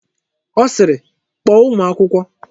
Ọ sịịrị, kpọọ ụmụ akwụkwọ!